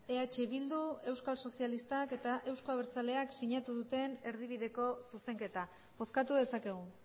eh bildu euskal sozialistak eta euzko abertzaleak sinatu duten erdibideko zuzenketa bozkatu dezakegu